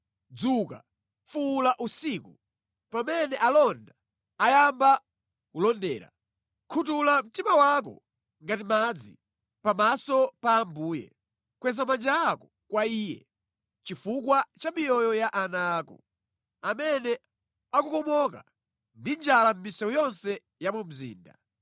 Dzuka, fuwula usiku, pamene alonda ayamba kulondera; khuthula mtima wako ngati madzi pamaso pa Ambuye. Kweza manja ako kwa Iye chifukwa cha miyoyo ya ana ako, amene akukomoka ndi njala mʼmisewu yonse ya mu mzinda.